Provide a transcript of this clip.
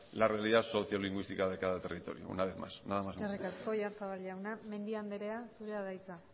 la realidad sociolingüística de cada territorio una vez más nada más muchas gracias eskerrik asko oyarzabal jauna mendia anderea zurea da hitza